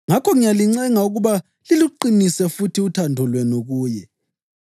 Ngakho ngiyalincenga ukuba liluqinise futhi uthando lwenu kuye.